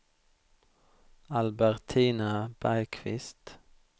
Albertina Bergqvist